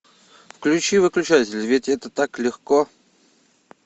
включи выключатель ведь это так легко